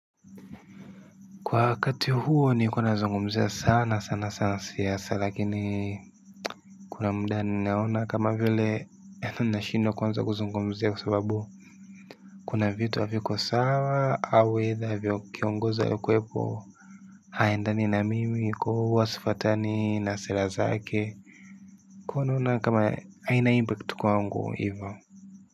Kwa wakati huo nilikuwa nazungumzia sana sana sana siasa lakini kuna muda ni naona kama vile nashindwa kuanza kuzungumzia kwa sababu kuna vitu haviko sawa au either kiongozi aliyekuwepo haendani na mimi kwa hiyo huwa sifatani na sera zake. Kwa hiyo naona kama haina impact kwangu hivo.